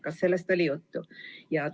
Kas sellest oli juttu?